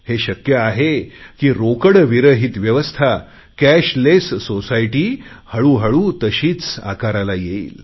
हे शक्य आहे की रोकडविरहीत व्यवस्था कॅशलेस सोसायटी हळूहळू तशीच आकाराला येईल